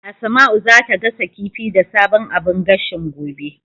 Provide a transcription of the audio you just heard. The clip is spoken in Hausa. Asma'u zata gasa kifi da sabon abun gashin, gobe.